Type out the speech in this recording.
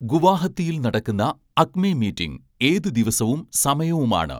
ഗുവാഹത്തിയിൽ നടക്കുന്ന Acme meeting ഏത് ദിവസവും സമയവുമാണ്